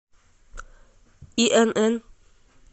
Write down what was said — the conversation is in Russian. инн